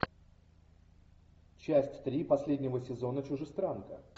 часть три последнего сезона чужестранка